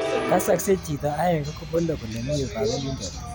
Kasakse chito aenge kopole kole mi yu kapelindet.